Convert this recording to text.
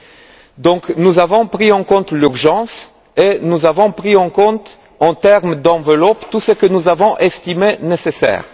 Par conséquent, nous avons pris en compte l'urgence et nous avons pris en compte, en termes d'enveloppe, tout ce que nous avons estimé nécessaire.